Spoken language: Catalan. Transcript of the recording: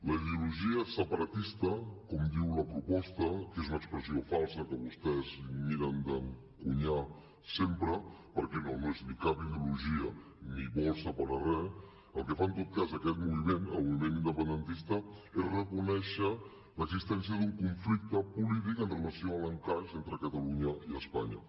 la ideologia separatista com diu la proposta que és una expressió falsa que vostès miren d’encunyar sempre perquè no no és ni cap ideologia ni vol separar res el que fa en tot cas aquest moviment el moviment independentista és reconèixer l’existència d’un conflicte polític amb relació a l’encaix entre catalunya i espanya